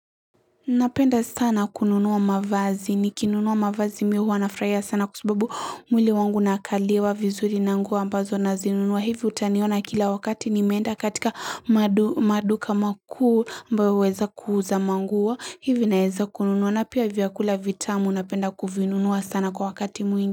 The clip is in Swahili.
Napenda sana kununua mavazi, nikinunua mavazi mimi huwa nafurahia sana kwa sababu mwili wangu nakaliwa vizuri na nguo ambazo nazinunua. Hivyo utaniona kila wakati nimeenda katika maduka makuu ambayo huweza kuuza manguo. Hivyo naeza kununua. Na pia vyakula vitamu napenda kuvinunua sana kwa wakati mwingi.